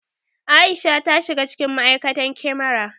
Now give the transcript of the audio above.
Aisha ta shiga cikin ma'aikatan kyamara